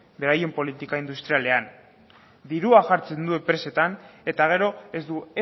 beraien politika industrialean dirua jartzen du enpresetan eta gero ez du